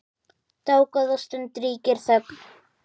Dágóða stund ríkir þögn.